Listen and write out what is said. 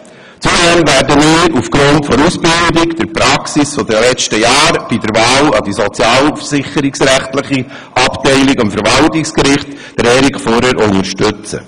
Zudem werden wir aufgrund seiner Ausbildung und der Praxis der letzten Jahre bei der Wahl an die sozialversicherungsrechtliche Abteilung des Verwaltungsgerichts Erik Furrer unterstützen.